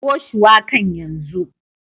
Kawo shuwakan yanzu.